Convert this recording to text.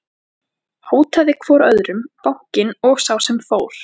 Hótaði hvor öðrum, bankinn og sá sem fór.